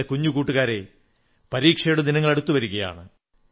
എന്റെ കുഞ്ഞു കൂട്ടുകാരേ പരീക്ഷയുടെ ദിനങ്ങൾ അടുത്തുവരുകയാണ്